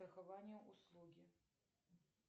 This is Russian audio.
страхование услуги